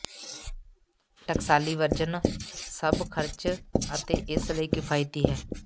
ਟਕਸਾਲੀ ਵਰਜਨ ਸਭ ਖਰਚ ਅਤੇ ਇਸ ਲਈ ਕਿਫਾਇਤੀ ਹੈ